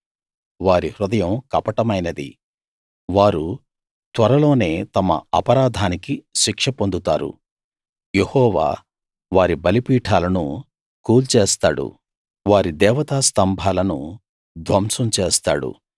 వారి హృదయం కపటమైనది వారు త్వరలోనే తమ అపరాధానికి శిక్ష పొందుతారు యెహోవా వారి బలిపీఠాలను కూల్చేస్తాడు వారి దేవతా స్థంభాలను ధ్వంసం చేస్తాడు